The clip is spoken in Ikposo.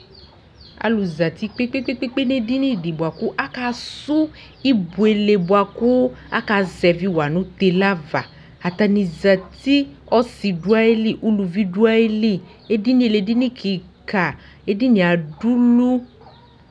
Alʋ zati kpekpekpekpekpe edlnidɩ bʋakʋ akasʋ ibuele bʋa kʋ aka zɛvɩwa nʋ tele zva Atanɩ zati : ɔsɩ dʋ ayili , uluvi dʋ ayili ; edinie lɛ edini kɩka ! Edinie adulu